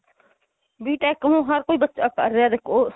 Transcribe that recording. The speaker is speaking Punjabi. BTECH ਨੂੰ ਹਰ ਕੋਈ ਬੱਚਾ ਕਰ ਰਿਹਾ ਦੇਖੋ